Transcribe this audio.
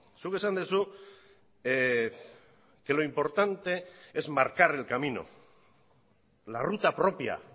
zuk esan duzu que lo importante es marcar el camino la ruta propia